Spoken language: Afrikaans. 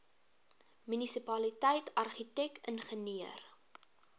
munisipaliteit argitek ingenieur